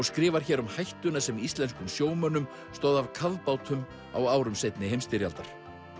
skrifar hér um hættuna sem íslenskum sjómönnum stóð af kafbátum á árum seinni heimsstyrjaldar